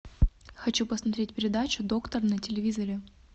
хочу посмотреть передачу доктор на телевизоре